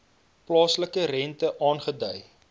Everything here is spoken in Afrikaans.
plaaslike rente aangedui